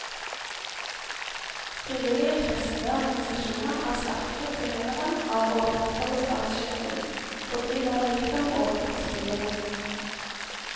Frivillige kristne organisasjoner er sterke tilhengere av å opprettholde statskirken, fordi den har gitt dem åpent spillerom.